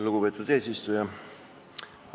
Lugupeetud eesistuja!